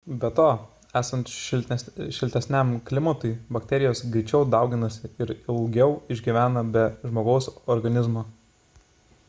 be to esant šiltesniam klimatui bakterijos greičiau dauginasi ir ilgiau išgyvena be žmogaus organizmo